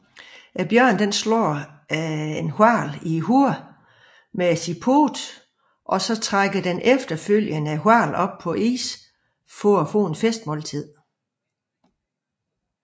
Bjørnen slår en hval i hovedet med poten og trækker efterfølgende hvalen op på isen for et festmåltid